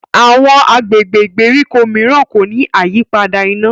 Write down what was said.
Àwọn agbègbè ìgbèríko míràn kò ní àyípadà iná.